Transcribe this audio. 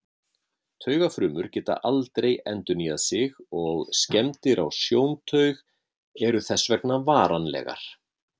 Taugafrumur geta aldrei endurnýjað sig og skemmdir á sjóntaug eru þess vegna varanlegar.